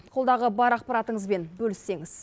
қолдағы бар ақпаратыңызбен бөліссеңіз